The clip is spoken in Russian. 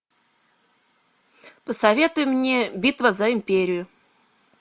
посоветуй мне битва за империю